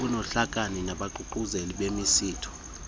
nobuhlakani nabaququzeleli bemisitho